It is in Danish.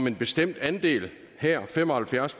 en bestemt andel her fem og halvfjerds